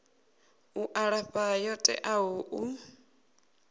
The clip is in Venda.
u alafha yo teaho u